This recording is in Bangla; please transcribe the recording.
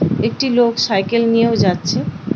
একটি লোক সাইকেল নিয়েও যাচ্ছে।